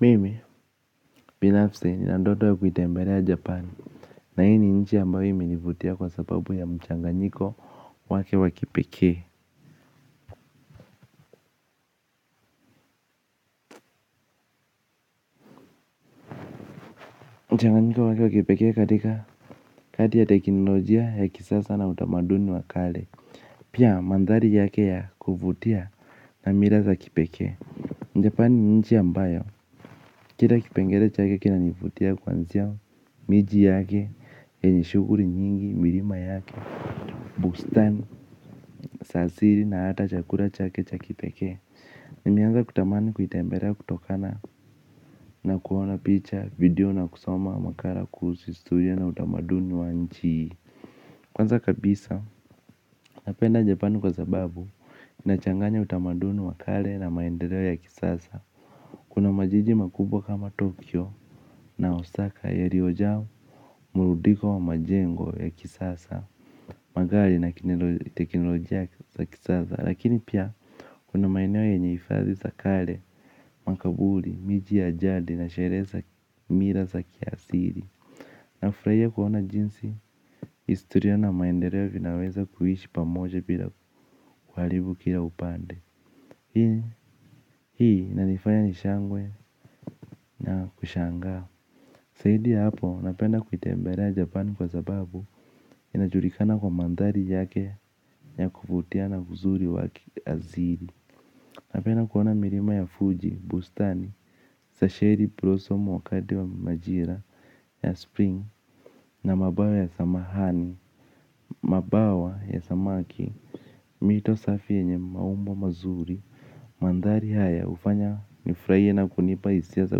Mimi binafsi nina ndoto ya kuitembelea japani. Na hii ni nchi ambayo iminivutia kwa sababu ya mchanganyiko wake wa kipekee mchanganyiko wake wa kipekee katika, kati ya teknolojia ya kisasa na utamaduni wa kale. Pia mandhari yake ya kuvutia na mila za kipekee Japani ni nchi ambayo kila kipengele chake kinanivutia kwanzia miji yake yenye shuguli nyingi milima yake. Bustan, sasiri na hata chakura chake cha kipekee. Nimeanza kutamani kuitemberea kutokana na kuona picha video na kusoma makara kuusu historia na utamaduni wa nchi hii. Kwanza kabisa, napenda Japan kwa sababu, inachanganya utamaduni wa kale na maendeleo ya kisasa. Kuna majiji makubwa kama Tokyo na Osaka yaliojaa murudiko wa majengo ya kisasa. Magari na teknolojia ya kisasa. Lakini pia kuna maeneo yenye ifadhi za kale, makabuli, miji ya jadi na sheree za mira za kiasili. Nafrahia kuona jinsi historia na maendereo vinaweza kuishi pamoja bila kuhalibu kila upande. Hii inanifanya nishangwe na kushangaa. Saidi ya hapo napenda kuitembelea Japan kwa sababu inajulikana kwa manthari yake ya kuvutia na uzuri wakiazili. Napena kuona mirima ya Fuji, Bustani, Sashiri, Blossom wakati wa majira, ya Spring na mabawa ya samahani, mabawa ya Samaki. Mito safi yenye maumbo mazuri, mandhari haya ufanya nifraie na kunipa isia za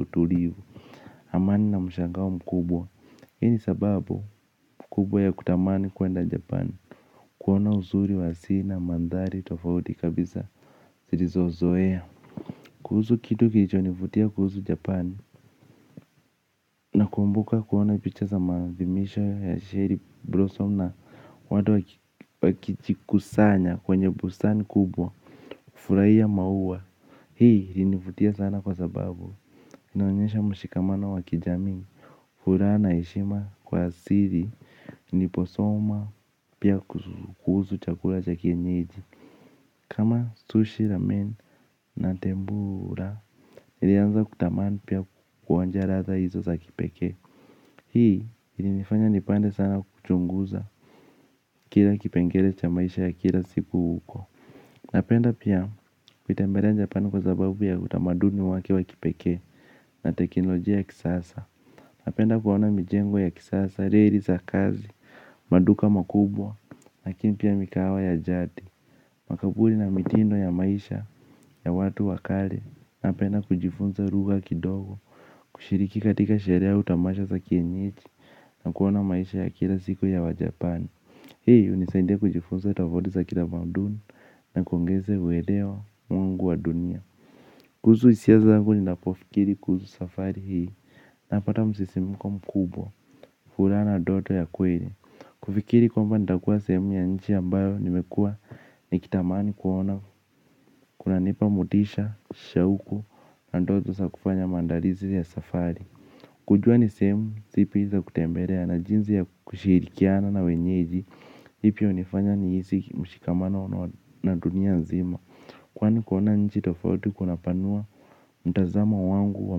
utulivu. Amani na mshangao mkubwa, hii ni sababu mkubwa ya kutamani kuenda Japan. Kuona uzuri wa si na mandhari tofauti kabisa, zilizozoea. Kuhusu kitu kilichoo nivutia kuhusu japan. Nakumbuka kuona picha za maadhimisho ya Sherry Brossom na watu wakijikusanya kwenye busani kubwa. Furaia maua. Hii ilinivutia sana kwa sababu inaonyesha mshikamano wa kijamii. Furaha na heshima kwa asiri niposoma pia kuhusu chakura cha kienyeji kama sushi, ramen na tembura nilianza kutamani pia kuonja ratha hizo za kipekee. Hii ilinifanya nipande sana kuchunguza kila kipengele cha maisha ya kila siku huko. Napenda pia kuitembelea Japani kwa sababu ya utamaduni wake wa kipekee na teknolojia ya kisasa. Napenda kuona mijengo ya kisasa, reri za kazi, maduka makubwa, lakini pia mikahawa ya jadi. Makaburi na mitindo ya maisha ya watu wa kale napenda kujifunza ruga kidogo kushiriki katika sherehe au tamasha za kienyeji na kuona maisha ya kila siku ya wajapani. Hii unisaidia kujifunza tovaudi za kila mauduni na kuongeza uelewa mwangu wa dunia. Kuhusu isia zangu ninapofikiri kuhusu safari hii napata msisimuko mkubwa furaha na doto ya kweli. Kufikiri kwamba nitakua sehemu ya nchi ambayo nimekua nikitamani kuona kunanipa motisha shauku na ndoto sa kufanya maandalizi ya safari. Kujua ni sehemu zipi za kutemberea na jinzi ya kushirikiana na wenyeji ii pia unifanya niisi mshikamano na dunia nzima kwani kuona nchi tofauti kunapanua mtazamo wangu wa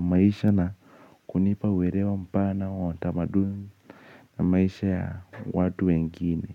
maisha na kunipa uerewa mpana wa tamaduni na maisha ya watu wengine.